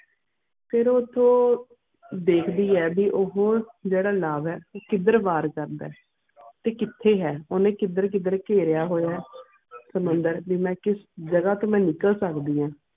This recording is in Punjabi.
ਫਿਰ ਉਠੁ ਦੈਹਕਦੀ ਹੈ ਵੀ ਉਹ ਹੋਰ ਜੇਰਾ ਲਾਵੇ ਕਿੱਧਰ ਵਾਰ ਜਾਂਦਾ ਕਿਥੇ ਹੈ ਉਨ੍ਹੇ ਕਿੱਧਰ ਕਿੱਧਰ ਕਿਰਿਆ ਹੋਇਆ ਸੁਮੰਦਰ ਦੀ ਮੈਂ ਕਿਸ ਜਗਾਹ ਤੂੰ ਮੈਂ ਨਿਕਲ ਸਕਦੀਆਂ.